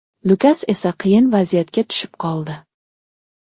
Lukas esa qiyin vaziyatga tushib qoldi.